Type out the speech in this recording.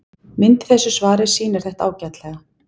Mynd í þessu svari sýnir þetta ágætlega.